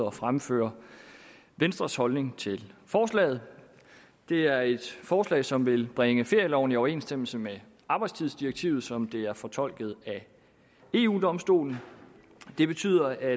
at fremføre venstres holdning til forslaget det er et forslag som vil bringe ferieloven i overensstemmelse med arbejdstidsdirektivet som det er fortolket af eu domstolen det betyder at